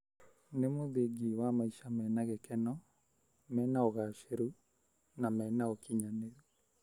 Nĩ mũthingi wa maica mena gĩkeno, mena ũgacĩru na mena ũkinyanĩru